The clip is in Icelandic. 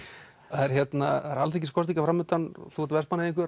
það eru alþingiskosningar framundan og þú ert